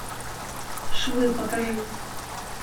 швы покажи